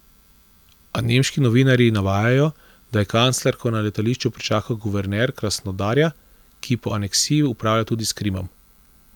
A nemški novinarji navajajo, da je kanclerko na letališču pričakal guverner Krasnodarja, ki po aneksiji upravlja tudi s Krimom.